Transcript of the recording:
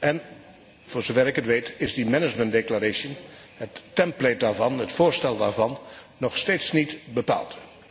En, voorzover ik het weet, is die management declaration het template daarvan, het voorstel daarvan, nog steeds niet bepaald.